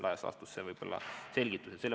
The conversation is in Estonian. Laias laastus see on võib-olla selgitus.